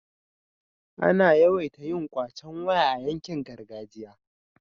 ana yawaita yin kwacen waya a yankin gargajiya